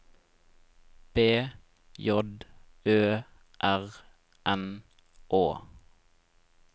B J Ø R N Å